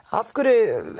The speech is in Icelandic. af hverju